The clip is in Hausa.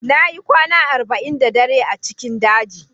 Na yi kwana arba'in da dare a cikin daji